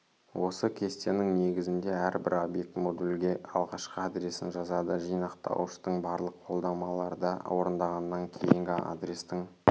осы кестенің негізінде әрбір обьект модульге алғашқы адресін жазады жинақтауыштың барлық қолдамаларда орындағаннан кейінгі адрестің